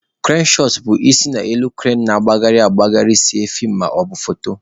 Krane shọt bụ isi n'elu krane na-agagharị agagharị see feem maọbụ foto.